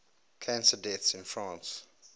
cancer deaths in france